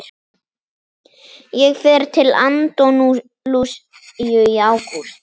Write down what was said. Ég fer til Andalúsíu í ágúst.